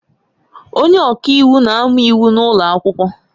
Onye ọka iwu na-amụ Iwu n'ụlọ akwụkwọ